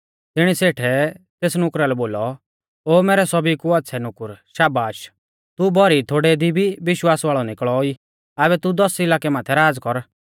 तिणी सेठै तेस नुकरा लै बोलौ ओ मैरै सौभी कु आच़्छ़ै नुकुर शाबाश तू भौरी थोड़ै दी भी विश्वास वाल़ौ निकल़ो ई आबै तू दस इलाकै माथै राज़ कर